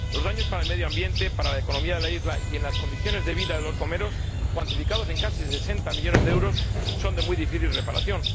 Los daños para el medio ambiente, la economía de la isla y las condiciones de vida de la población, cuantificados en casi 60 millones de euros, son de muy difícil reparación.